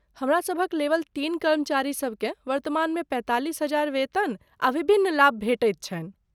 हमरासभक लेवल तीन कर्मचारीसबकेँ वर्तमानमे पैंतालिस हजार वेतन आ विभिन्न लाभ भेटैत छनि।